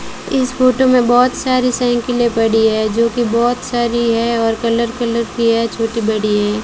इस फोटो में बहुत सारी साइकिलें पड़ी है जो कि बहुत सारी है और कलर कलर की है छोटी बड़ी है।